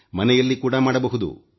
ಮನೆಯಲ್ಲಿ ಕೂಡ ಮಾಡಬಹುದು